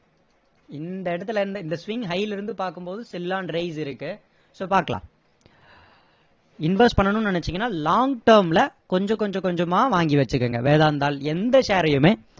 இந்த இடத்துல இருந்து இந்த swing high ல இருந்து பாக்கும் போது இருக்கு so பாக்கலாம் invest பண்ணனும்னு நினைச்சிங்கன்னா long term ல கொஞ்ச கொஞ்ச கொஞ்சமா வாங்கி வச்சுக்கோங்க வேதாந்தாள் எந்த share ஐயுமே